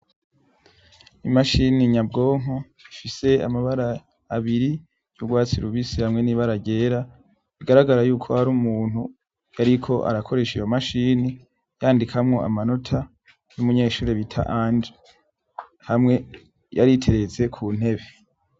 Imashini nyabwonko ifise amabara abiri y'urwatsi rubisi hamwe n'ibara ryera, bigaragara yuko hari umuntu yariko arakoresha iyo mashini, yandikamwo amanota y'umunyeshure bita Anje. Hamwe yari iteretse ku ntebe.